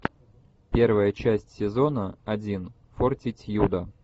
первая часть сезона один фортитьюда